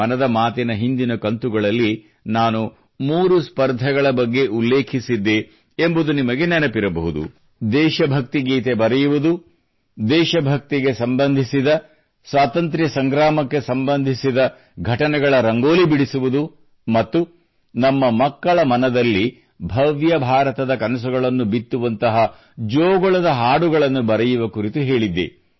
ಮನದ ಮಾತಿನ ಹಿಂದಿನ ಕಂತುಗಳಲ್ಲಿ ನಾನು 3 ಸ್ಪರ್ಧೆಗಳ ಬಗ್ಗೆ ಉಲ್ಲೇಖಿಸಿದ್ದೆ ಎಂಬುದು ನಿಮಗೆ ನೆನಪಿರಬಹುದು ದೇಶ ಭಕ್ತಿ ಗೀತೆ ಬರೆಯುವುದು ದೇಶ ಭಕ್ತಿಗೆ ಸಂಬಂಧಿಸಿದ ಸ್ವಾತಂತ್ರ್ಯ ಸಂಗ್ರಾಮಕ್ಕೆ ಸಂಬಂಧಿಸಿದ ಘಟನೆಗಳ ರಂಗೋಲಿ ಬಿಡಿಸುವುದು ಮತ್ತು ನಮ್ಮ ಮಕ್ಕಳ ಮನದಲ್ಲಿ ಭವ್ಯ ಭಾರತದ ಕನಸುಗಳನ್ನು ಬಿತ್ತುವಂತಹ ಜೋಗುಳದ ಹಾಡುಗಳನ್ನು ಬರೆಯುವ ಕುರಿತು ಹೇಳಿದ್ದೆ